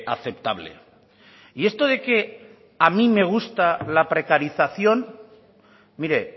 aceptable y esto de que a mí me gusta la precarización mire